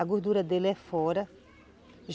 A gordura dele é fora.